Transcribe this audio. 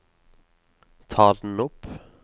ta den opp